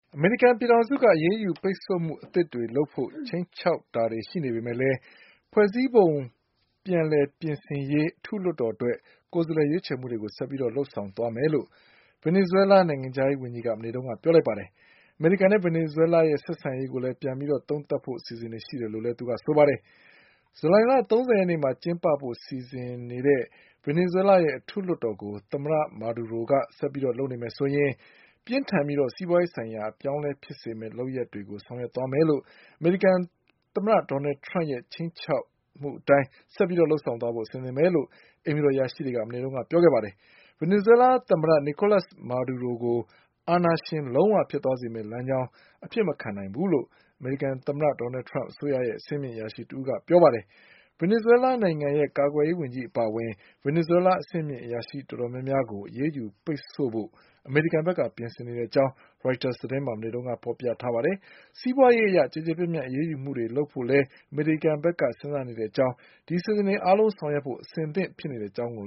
အမေရိကန် ပြည်ထောင်စုက အရေးယူ ပိတ်ဆို့မှု အသစ်တွေ လုပ်ဖို့ ခြိမ်းခြောက်မှုတွေ ရှိနေပေမယ့်လည်း ဖွဲ့စည်းပုံ ပြန်လည်ပြင်ဆင်ရေး အထူးလွှတ်တော် အတွက် ကိုယ်စားလှယ် ရွေးချယ်မှုတွေကို ဆက်ပြီး လုပ်ဆောင်သွားမယ်လို့ ဗင်နီဇွဲလား နိုင်ငံခြားရေးဝန်ကြီးက မနေ့က ပြောလိုက်ပါတယ်။ အမေရိကန်နဲ့ ဗင်နီဇွဲလားရဲ့ ဆက်ဆံရေးကို ပြန်လည် သုံးသပ်ဖို့ အစီအစဉ်တွေ ရှိတယ်လို့ လည်း ဆိုပါတယ်။ ဇူလိုင်လ ၃၀ ရက်နေ့မှာ ကျင်းပဖို့ စီစဉ်နေတဲ့ ဗင်နီဇွဲလားရဲ့ အထူးလွှတ်တော်ကို သမ္မတ မာဒူရိုက ဆက်ပြီး လုပ်နေမယ်ဆိုရင် ပြင်းထန်ပြီး စီးပွားရေးဆိုင်ရာ အပြောင်းအလဲ ဖြစ်စေမယ့် လုပ်ရပ်ကို ဆောင်ရွက် သွားမယ်လို့ အမေရိကန် သမ္မတ ဒေါ်နလ်ထရမ့်က ခြိမ်းခြောက်မှု အတိုင်း ဆက်ပြီး လုပ်ဆောင်သွားဖို့ အဆင်သင့် ပဲလို့ အိမ်ဖြူတော် အရာရှိတွေက မနေ့ကပဲ ပြောခဲ့ပါတယ်။ ဗင်နီဇွဲလား သမ္မတ နီကိုးလပ်စ်မာဒူရိုကို အာဏာရှင် လုံး၀ ဖြစ်သွားစေမယ့် လမ်းကြောင်းကို အဖြစ်မခံနိုင်ဘူးလို့ အမေရိကန် သမ္မတ ထရမ့်အစိုးရရဲ့ အဆင့်မြင့် အရာရှိတဦးက ပြောပါ တယ်။ ဗင်နီဇွဲလားနိုင်ငံရဲ့ကာကွယ်ရေး ဝန်ကြီး အပါအဝင် ဗင်နီဇွဲလား အဆင့်မြင့် အရာရှိ တော်တော်များများကို အရေးယူ ပိတ်ဆို့ဖို့ အမေရိကန်ဘက်က ပြင်ဆင်နေတဲ့ အကြောင်း ရိုက်တာစ် သတင်းမှာ မနေ့က ဖေါ်ပြထားပါတယ်။ စီးပွါးရေးအရ ကျယ်ကျယ်ပြန့်ပြန့် အရေးယူမှုတွေ လုပ်ဖို့လည်း အမေရိကန်ဘက်က စဉ်းစားနေတဲ့ အကြောင်း ဒီအစီအစဉ်တွေ အားလုံး ဆောင်ရွက်ဖို့အသင့်ဖြစ်နေတဲ့ အကြောင်း ရို